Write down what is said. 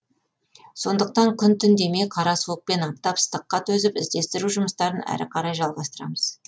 сондықтан күн түн демей қара суық пен аптап ыстыққа төзіп іздестіру жұмыстарын әрі қарай жалғастырамыз